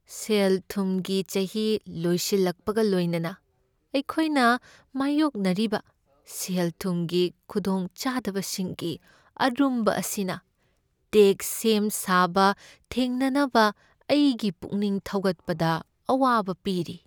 ꯁꯦꯜ ꯊꯨꯝꯒꯤ ꯆꯍꯤ ꯂꯣꯏꯁꯤꯜꯂꯛꯄꯒ ꯂꯣꯏꯅꯅ, ꯑꯩꯈꯣꯏꯅ ꯃꯥꯢꯌꯣꯛꯅꯔꯤꯕ ꯁꯦꯜ ꯊꯨꯝꯒꯤ ꯈꯨꯗꯣꯡꯆꯥꯗꯕꯁꯤꯡꯒꯤ ꯑꯔꯨꯝꯕ ꯑꯁꯤꯅ ꯇꯦꯛꯁ ꯁꯦꯝꯁꯥꯕ ꯊꯦꯡꯅꯅꯕ ꯑꯩꯒꯤ ꯄꯨꯛꯅꯤꯡ ꯊꯧꯒꯠꯄꯗ ꯑꯋꯥꯕ ꯄꯤꯔꯤ ꯫